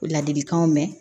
Ladilikanw mɛn